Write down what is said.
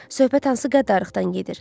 Söhbət hansı qəddarlıqdan gedir?